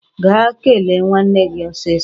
Gaa kelee nwanne gị ọsịsọ!